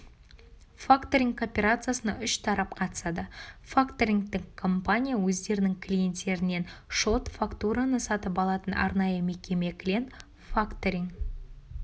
факторинг операциясына үш тарап қатысады факторингтік компания өздерінің клиенттерінен шот-фактураны сатып алатын арнайы мекеме клиент факторинг